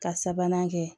Ka sabanan kɛ